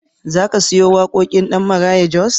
Za ka siyo waƙoƙin ɗan Maraya Jos?